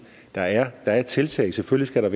der er tiltag selvfølgelig